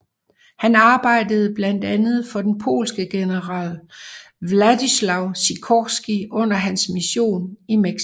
Han arbejdede blandt andet for den polske general Władysław Sikorski under hans mision i Mexico